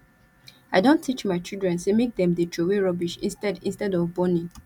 i don teach my children sey make dem dey troway rubbish instead instead of burning